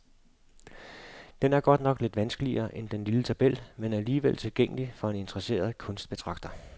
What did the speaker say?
Den er godt nok lidt vanskeligere end den lille tabel, men alligevel tilgængelig for en interesseret kunstbetragter.